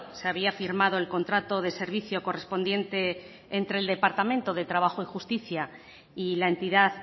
se había firmado el contrato de servicio correspondiente entre el departamento de trabajo y justicia y la entidad